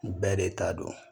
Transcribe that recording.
Bɛɛ de ta don